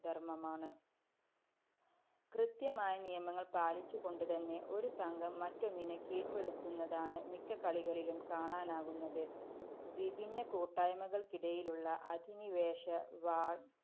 ധര്‍മമാണ്. കൃത്യമായ നിയമങ്ങള്‍ പാലിച്ചുകൊണ്ടുതന്നെ ഒരു സംഘം മറ്റൊന്നിനെ കീഴ്പ്പെടുത്തുന്നതാണ് മിക്ക കളികളിലും കാണാനാകുന്നത്. വിഭിന്ന കൂട്ടായ്മകള്‍ക്കിടയിലുള്ള അധിനിവേശ വാ~